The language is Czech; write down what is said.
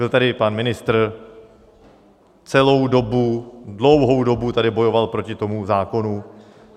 Byl tady pan ministr, celou dobu, dlouhou dobu tady bojoval proti tomu zákonu.